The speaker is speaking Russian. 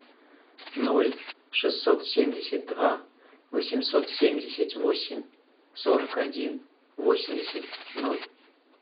ноль шестьсот семьдесят два восемьсот семьдесят восемь сорок один восемьдесят ноль